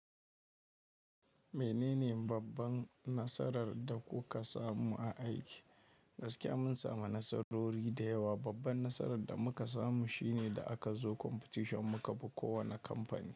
Menene babban nasarar da kuka samu a aiki? Gaskiya mun samu nasarori da yawa. Babban nasarar da muka samu shine, da aka zo competition muka fi kowani kamfani.